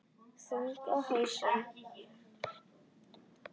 Þungt hugsi?